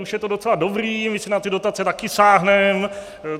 Už je to docela dobrý, my si na ty dotace taky sáhnem.